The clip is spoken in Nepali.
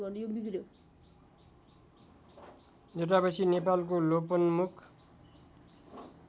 जटामसी नेपालको लोपोन्मुख